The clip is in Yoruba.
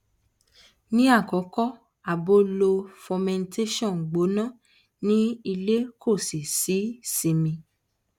ni akoko abo lo fomentation gbona ni ile ko si simi